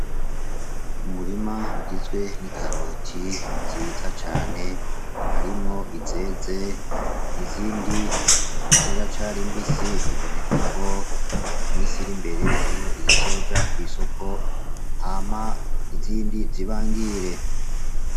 Umurima ugizwe n'ikaroti nziza cane, harimwo izeze izindi ziracari mbisi. Biboneka ko mu misi irimbere hariho izizoja kw'isoko hama izindi zibangire.